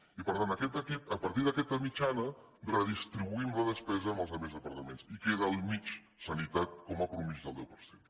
i per tant a partir d’aquesta mitjana redistribuïm la despesa amb els altres departaments i queda al mig sanitat com a mitjana del deu per cent